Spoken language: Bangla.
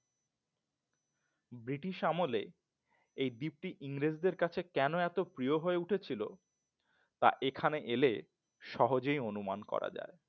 British আমলে এই দীপ্তি ইংরেজি কাছে এত কেন প্রিয় হয়ে উঠেছিল তাই এখানে এলে সহজেই অনুমান করা যায়